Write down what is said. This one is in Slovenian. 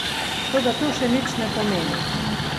Toda to še nič ne pomeni.